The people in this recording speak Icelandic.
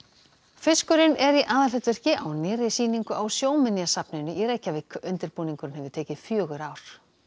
fiskurinn er í aðalhlutverki á nýrri sýningu á Sjóminjasafninu í Reykjavík undirbúningurinn hefur tekið fjögur ár